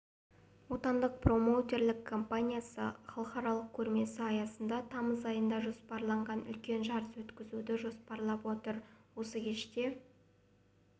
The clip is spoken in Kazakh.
отандық промоутерлік компаниясы халықаралық көрмесі аясында тамыз айына жоспарланған үлкен жарыс өткізуді жоспарлап отыр осы кеште